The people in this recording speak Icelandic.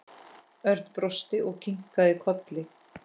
Örn brosti og kinkaði kolli.